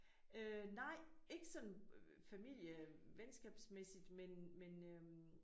Øh nej ikke sådan familie venskabsmæssigt men men øh